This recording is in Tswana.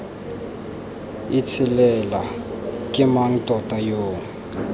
itshelela ke mang tota yo